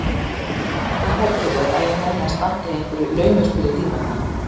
Hvað heldurðu að ég nenni að standa í einhverju laumuspili þín vegna?